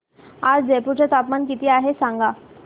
आज जयपूर चे तापमान किती आहे सांगा